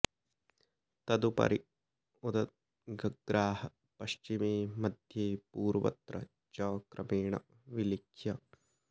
तदुपरि उदगग्राः पश्चिमे मध्ये पूर्वत्र च क्रमेण विलिख्य